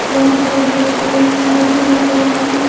बहुत बड़े-बड़े पेड़-पौधे लगाए गए हैं।